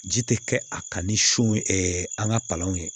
Ji tɛ kɛ a kan ni so an ka palanw ye